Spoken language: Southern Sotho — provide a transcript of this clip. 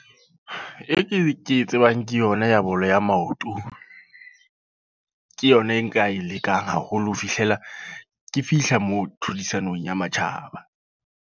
E ke, e ke e tsebang ke yona ya bolo ya maoto. Ke yona e nka e lekang haholo ho fihlela ke fihla moo tlhodisanong ya matjhaba.